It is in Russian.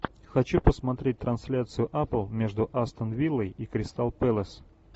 хочу посмотреть трансляцию апл между астон виллой и кристал пэлас